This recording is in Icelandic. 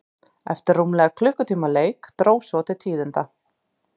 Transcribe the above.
Eftir rúmlega klukkutíma leik dró svo til tíðinda.